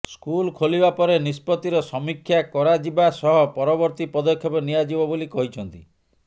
school ଖୋଲିବା ପରେ ନିଷ୍ପତ୍ତିର ସମୀକ୍ଷା କରାଯିବା ସହ ପରବର୍ତ୍ତି ପଦକ୍ଷେପ ନିଆଯିବ ବୋଲି କହିଛନ୍ତି